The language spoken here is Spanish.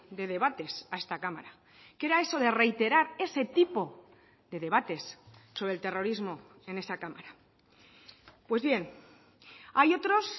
de debates a esta cámara qué era eso de reiterar ese tipo de debates sobre el terrorismo en esa cámara pues bien hay otros